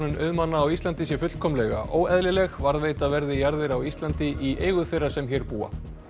auðmanna á Íslandi sé fullkomlega óeðlileg varðveita verði jarðir á Íslandi í eigu þeirra sem hér búa